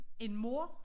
En mor